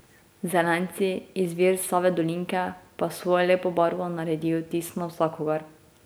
Zelenci, izvir Save Dolinke, pa s svojo lepo barvo naredijo vtis na vsakogar.